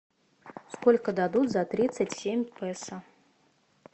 сколько дадут за тридцать семь песо